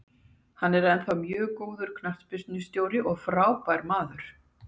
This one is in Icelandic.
Hann er ennþá mjög góður knattspyrnustjóri og frábær maður